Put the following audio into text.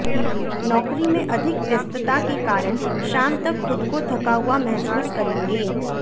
नौकरी में अधिक व्यस्तता के कारण शाम तक खुद को थका हुआ महसूस करेंगे